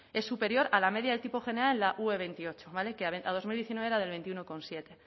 es superior a la media de tipo general la ue veintiocho vale que a dos mil diecinueve era del veintiuno coma siete